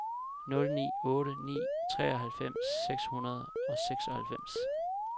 nul ni otte ni treoghalvfems seks hundrede og seksoghalvfems